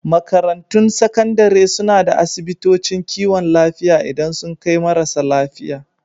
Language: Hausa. Makarantun Sakandare suna da asibitocin kiwon lafiya idan sun kai marasa lafiya.